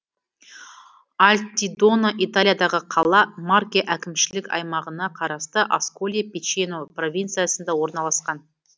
альтидона италиядағы қала марке әкімшілік аймағына қарасты асколи пичено провинциясында орналасқан